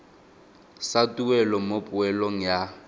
sa tuelo mo poelong ya